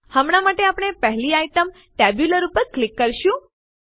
હમણાં માટે આપણે પહેલી આઈટમ ટેબ્યુલર ઉપર ક્લિક કરીશું